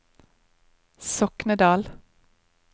Soknedal